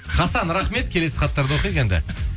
хасан рахмет келесі хаттарды оқиық енді